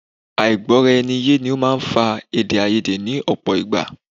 Àìgbọ̀raẹniyé ni ó máa ń fa èdèàìyedè ní ọ̀pọ̀ ìgbà